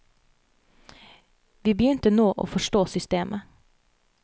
Vi begynte nå å forstå systemet.